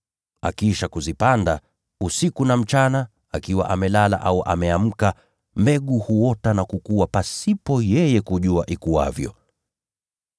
Akiisha kuzipanda, usiku na mchana, akiwa amelala au ameamka, mbegu huota na kukua pasipo yeye kujua ikuavyo.